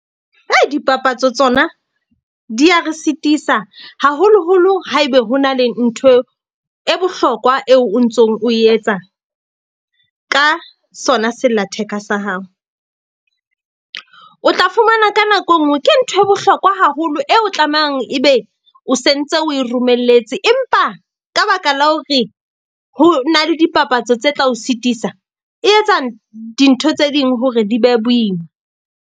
Dipapatso tsona di ya re sitisa, haholoholo haebe ho na le nthwe e bohlokwa eo o ntsong o etsa ka sona sellatheka sa hao. O tla fumana ka nako e nngwe ke nthwe bohlokwa haholo eo tlamehang ebe o sentse o e romelletse, empa ka baka la hore ho na le dipapatso tse tla o sitisa, e etsa dintho tse ding hore di be boima.